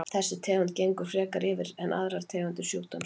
Þessi tegund gengur frekar yfir en aðrar tegundir sjúkdómsins.